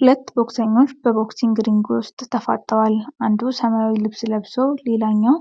ሁለት ቦክሰኞች በቦክሲንግ ሪንጉ ውስጥ ተፋጠዋል። አንዱ ሰማያዊ ልብስ ለብሶ፣ ሌላኛው